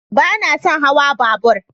Ba na son hawan babura.